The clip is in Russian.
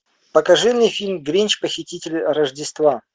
покажи мне фильм гринч похититель рождества